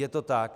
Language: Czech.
Je to tak.